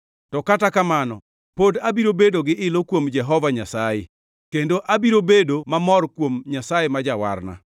to kata kamano pod abiro bedo gi ilo kuom Jehova Nyasaye, kendo abiro bedo mamor kuom Nyasaye ma Jawarna.